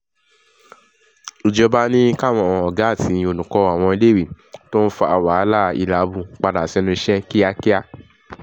ìjọba ní káwọn ọ̀gá àti olùkọ́ àwọn iléèwé tó ń fa wàhálà hílàábù padà sẹ́nu iṣẹ́ kíákíá